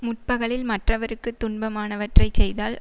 முற்பகலில் மற்றவருக்கு துன்பமானவற்றைச் செய்தால்